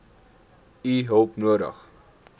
u hulp nodig